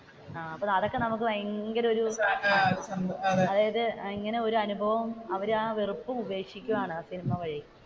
അപ്പൊ അതൊക്കെ നമുക്ക് ഭയങ്കര ഒരു അതായത് ഒരു അനുഭവം അവർ ആ വെറുപ്പും ഉപേക്ഷിക്കുകയാണ് ആ സിനിമ വഴി,